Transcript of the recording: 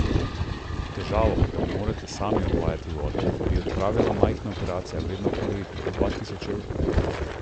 Težavo, da ne morejo sami odvajati vode, bi odpravila majhna operacija, vredna okoli dva tisoč evrov.